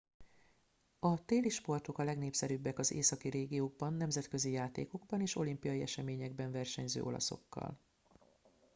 a téli sportok a legnépszerűbbek az északi régiókban nemzetközi játékokban és olimpiai eseményekben versenyző olaszokkal